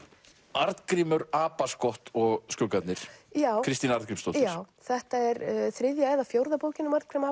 Arngrímur og skuggarnir Kristín Arngrímsdóttir þetta er þriðja eða fjórða bókin um Arngrím